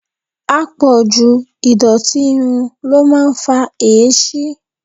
Apọ̀jù ìdọ̀tí irun ló máa ń fa èéṣí.